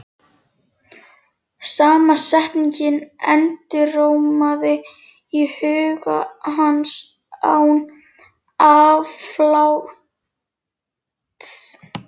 Sama setningin endurómaði í huga hans án afláts.